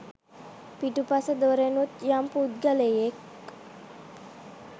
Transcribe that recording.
පිටුපස දොරෙනුත් යම් පුද්ගලයෙක්